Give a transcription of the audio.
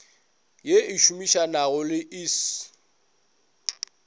ye e šomišanago le iss